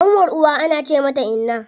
Ƙanwar uwa ana ce mata inna.